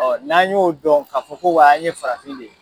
n'an y'o dɔn k'a fɔ ko wa an ye farafin de ye